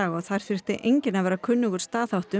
og þar þurfti enginn að vera kunnugur staðháttum